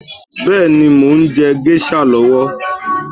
Bẹ́ẹ̀ni, mo ń jẹ géṣà lọ́wọ́